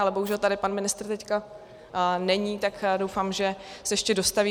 Ale bohužel tady pan ministr teď není, tak doufám, že se ještě dostaví.